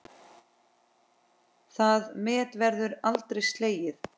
Það met verður aldrei slegið.